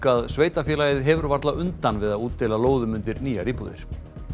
að sveitarfélagið hefur varla undan við að útdeila lóðum undir nýjar íbúðir